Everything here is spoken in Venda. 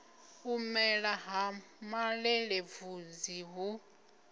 u mela ha malelebvudzi hu